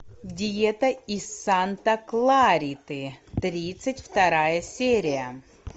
диета из санта клариты тридцать вторая серия